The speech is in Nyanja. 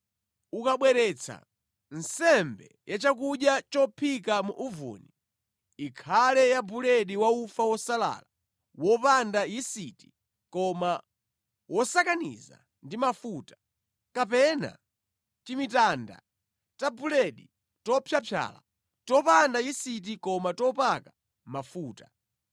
“ ‘Ukabweretsa nsembe ya chakudya chophika mu uvuni, ikhale ya buledi wa ufa wosalala wopanda yisiti koma wosakaniza ndi mafuta, kapena timitanda ta buledi topyapyala, topanda yisiti koma topaka mafuta.